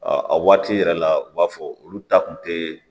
a waati yɛrɛ la u b'a fɔ olu ta kun te